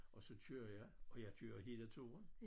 Og så kører jeg og jeg kører hele turen